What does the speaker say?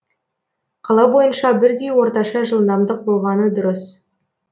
қала бойынша бірдей орташа жылдамдық болғаны дұрыс